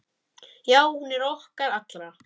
Já, hún er okkar allra.